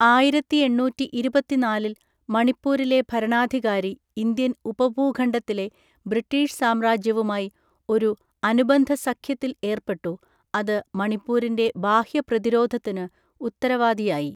ആയിരത്തി എണ്ണൂറ്റി ഇരുപത്തിനാലിൽ മണിപ്പൂരിലെ ഭരണാധികാരി ഇന്ത്യൻ ഉപഭൂഖണ്ഡത്തിലെ ബ്രിട്ടീഷ് സാമ്രാജ്യവുമായി ഒരു അനുബന്ധ സഖ്യത്തിൽ ഏർപ്പെട്ടു, അത് മണിപ്പൂരിന്റെ ബാഹ്യ പ്രതിരോധത്തിന് ഉത്തരവാദിയായി.